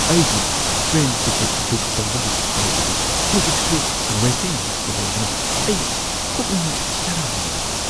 ꯑꯩꯒꯤ train ticket book ꯇꯧꯕꯒꯤ ꯐꯜ ꯑꯗꯨ ꯍꯧꯖꯤꯛꯁꯨ ꯋꯦꯇꯤꯡ ꯂꯤꯁꯠꯇ ꯂꯩꯕꯅ ꯑꯩ ꯄꯨꯛꯅꯤꯡ ꯆꯔꯥꯡꯅꯕ ꯐꯥꯎꯏ꯫